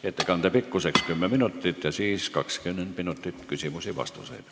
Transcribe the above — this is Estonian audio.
Ettekande pikkus on 10 minutit ja siis on 20 minutit küsimusi ja vastuseid.